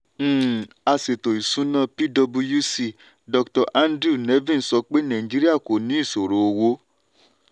um aṣètò-ìsúná pwc dr andrew nevin sọ pé nàìjíríà kò ní ìṣòro owó.